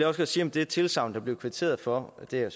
også sige om det tilsagn der blev kvitteret for og det er